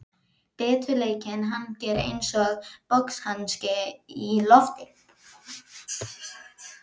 Biturleikinn hangir einsog boxhanski í loftinu.